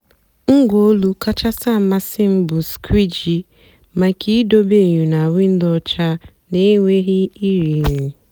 ngwá ólù kachásị́ àmasị́ m bụ́ skwìjì maka ìdòbé ényò na wìndó ọ́chà n'ènwèghị́ ìrìghirì.